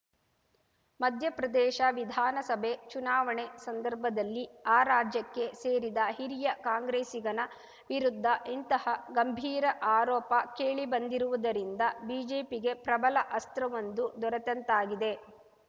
ಮಧ್ಯಪ್ರದೇಶ ವಿಧಾನಸಭೆ ಚುನಾವಣೆ ಸಂದರ್ಭದಲ್ಲಿ ಆ ರಾಜ್ಯಕ್ಕೆ ಸೇರಿದ ಹಿರಿಯ ಕಾಂಗ್ರೆಸ್ಸಿಗನ ವಿರುದ್ಧ ಇಂತಹ ಗಂಭೀರ ಆರೋಪ ಕೇಳಿಬಂದಿರುವುದರಿಂದ ಬಿಜೆಪಿಗೆ ಪ್ರಬಲ ಅಸ್ತ್ರವೊಂದು ದೊರೆತಂತಾಗಿದೆ